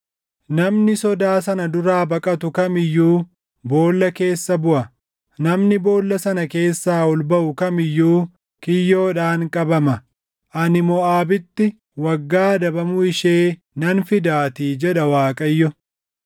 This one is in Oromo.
“Namni sodaa sana duraa baqatu kam iyyuu boolla keessa buʼa; namni boolla sana keessaa ol baʼu kam iyyuu kiyyoodhaan qabama; ani Moʼaabitti waggaa adabamuu ishee nan fidaatii” jedha Waaqayyo.